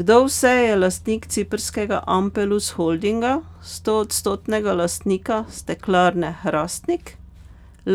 Kdo vse je lastnik ciprskega Ampelus Holdinga, stoodstotnega lastnika Steklarne Hrastnik,